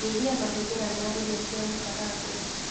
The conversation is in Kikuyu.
Nyia mahũthĩra ma irio cia gũkarangwo